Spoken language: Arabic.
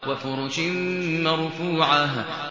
وَفُرُشٍ مَّرْفُوعَةٍ